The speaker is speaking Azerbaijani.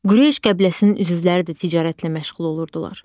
Qureyş qəbiləsinin üzvləri də ticarətlə məşğul olurdular.